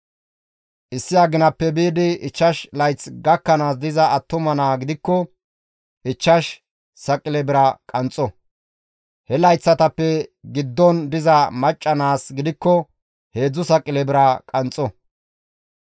issi aginappe biidi ichchash layth gakkanaas diza attuma naa gidikko ichchash saqile bira qanxxo; he layththata giddon diza macca naas gidikko heedzdzu saqile bira qanxxo.